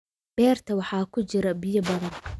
Beerta waxaa ku jira biyo badan